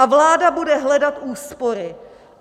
A vláda bude hledat úspory.